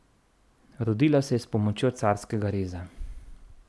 Rodila je s pomočjo carskega reza.